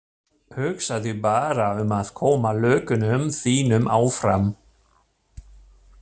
Hugsaðu bara um að koma lögunum þínum áfram.